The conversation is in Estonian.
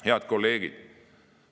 Head kolleegid!